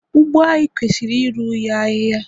ugbo anyi kwesiri iru ya ahịhịa